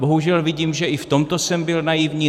Bohužel vidím, že i v tomto jsem byl naivní.